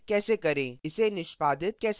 इसे कंपाइल कैसे करें